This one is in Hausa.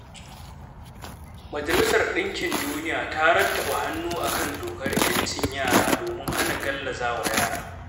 Majalisar Ɗinkin Duniya ta rattaba hannu a kan dokar 'yancin yara domin hana gallaza wa yara.